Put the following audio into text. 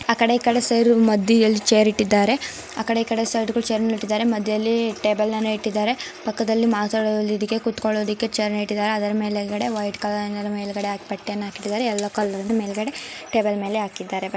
ಆಕಡೆ ಇಕಡೆ ಸೈಡ್ ಮಧ್ಯದಲ್ಲಿ ಚೇರ್ ಇಟ್ಟಿದ್ದಾರೆ. ಆಕಡೆ ಇಕಡೆ ಸೈಡ್ ಚೇರ್ ಮೇಲೆ ಇಟ್ಟಿದ್ದಾರೆ ಮಧ್ಯ ಯಲ್ಲಿ ಟೇಬಲ್ ಇಟ್ಟಿದ್ದಾರೆ. ಪಕ್ಕದಲ್ಲಿ ಮಾತಾಡೋಕೆ ಕೂತ್ಕೋಳಿಕೆ ಚೇರ್ ನ ಇಟ್ಟಿದ್ದಾರೆ. ಅದರ ಮೇಲ್ಗಡೆ ವೈಟ್ ಕಲರ್ ಅದರ ಮೇಲ್ಗಡೆ ಆಗ್ ಪತ್ತೆನಾ ಇಟ್ಟಿದ್ದಾರೆ ಎಲ್ಲೋ ಕಲರ್ ಮೇಲ್ಗಡೆ ಟೇಬಲ್ ಮೇಲೆ ಹಾಕಿದ್ದಾರೆ --